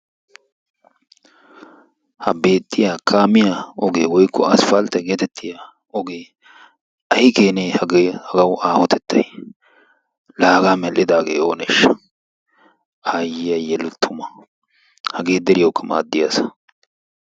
ha beettiyaa kaamiyaa ogee woykko asppaltte geetettiyaa ogee ay keenee hagee! hagawu aahotettay la hagaa mel"idaagee ooneeshsha. ayyiyaa yelu tumma. hagee deriyaawuka maaddiyaa asa.